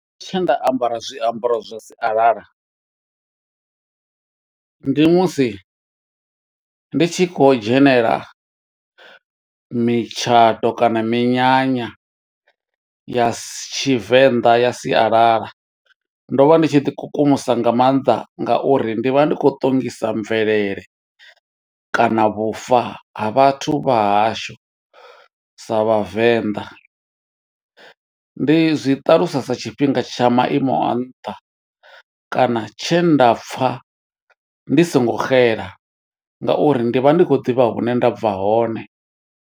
Tshe nda ambara zwiambaro zwa sialala, ndi musi ndi tshi khou dzhenela mitshato kana minyanya, ya Tshivenḓa ya sialala. Ndo vha ndi tshi ḓi kukumusa nga maanḓa, nga uri ndi vha ndi khou ṱongisa mvelele, kana vhufa ha vhathu vha hashu, sa Vhavenḓa. Ndi zwi ṱalusa sa tshifhinga tsha maimo a nṱha, kana tshe nda pfa ndi songo xela, nga uri ndi vha ndi khou ḓivha hune nda bva hone.